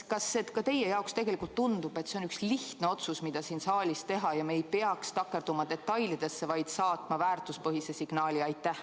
Kas ka teile tundub, et see on üks lihtne otsus, mis siin saalis tuleks teha, ja me ei tohiks takerduda detailidesse, vaid peaksime saatma ühiskonda väärtuspõhise signaali?